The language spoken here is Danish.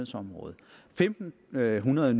økonomer